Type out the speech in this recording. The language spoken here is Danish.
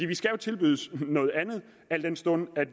vi skal jo tilbydes noget andet al den stund